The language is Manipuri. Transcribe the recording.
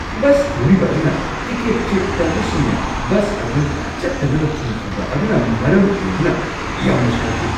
ꯕꯁ ꯊꯧꯔꯤꯕ ꯑꯗꯨꯅ ꯇꯤꯀꯦꯠ-ꯆꯦꯛ ꯇꯧꯕꯁꯤꯡꯅ ꯕꯁ ꯑꯗꯨ ꯆꯠꯇꯅꯕ ꯊꯤꯡꯈꯤꯕ ꯑꯗꯨꯅ ꯃꯔꯝ ꯑꯣꯏꯗꯨꯅ ꯌꯥꯝꯅ ꯁꯥꯎꯈꯤ꯫